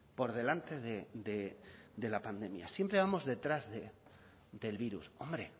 por delante de la pandemia siempre vamos detrás del virus hombre